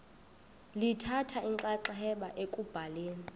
lithatha inxaxheba ekubhaleni